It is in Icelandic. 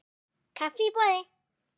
Kaffi í boði.